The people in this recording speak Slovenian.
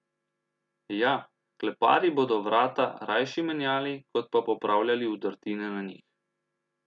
Ja, kleparji bodo vrata rajši menjali, kot pa popravljali vdrtine na njih.